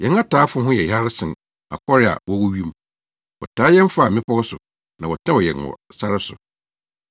Yɛn ataafo ho yɛ hare sen akɔre a wɔwɔ wim; wɔtaa yɛn faa mmepɔw so na wɔtɛw yɛn wɔ sare so.